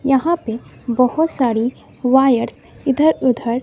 यहां पे बहुत सारी वायर इधर उधर--